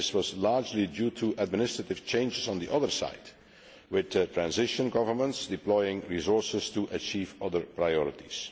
but this was largely due to administrative changes on the other side, with transitional governments deploying resources to achieve other priorities.